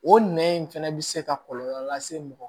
O nɛn in fɛnɛ bɛ se ka kɔlɔlɔ lase mɔgɔ